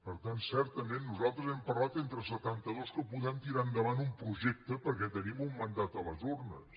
per tant certament nosaltres hem parlat entre setantados que podem tirar endavant un projecte perquè tenim un mandat a les urnes